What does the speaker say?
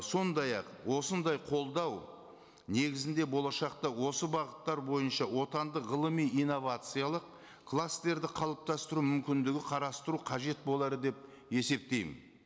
сондай ақ осындай қолдау негізінде болашақта осы бағыттар бойынша отандық ғылыми инновациялық кластерді қалыптастыру мүмкіндігі қарастыру қажет болар деп есептеймін